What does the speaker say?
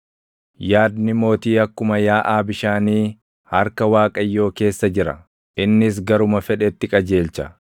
Yaadni mootii akkuma yaaʼaa bishaanii harka Waaqayyoo keessa jira; innis garuma fedhetti qajeelcha.